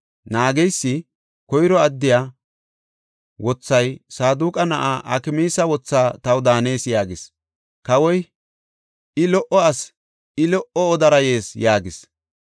Naageysi, “Koyro addiya wothay Saadoqa na7aa Akmaasa wotha taw daanees” yaagis. Kawoy, “I lo77o asi; I lo77o odara yees” yaagis.